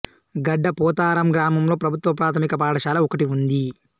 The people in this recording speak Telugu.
గడ్డ పోతారం గ్రామంలో ప్రభుత్వ ప్రాథమిక పాఠశాల ఒకటి ఉంది